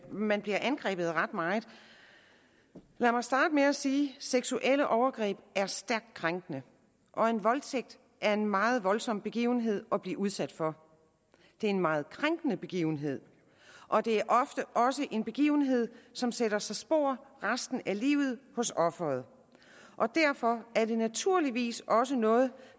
man bliver angrebet ret meget lad mig starte med at sige at seksuelle overgreb er stærkt krænkende og en voldtægt er en meget voldsom begivenhed at blive udsat for det er en meget krænkende begivenhed og det er ofte også en begivenhed som sætter sig spor resten af livet hos offeret og derfor er det naturligvis også noget